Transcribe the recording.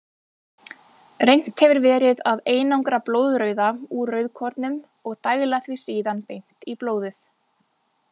Reynt hefur verið að einangra blóðrauða úr rauðkornum og dæla því síðan beint í blóðið.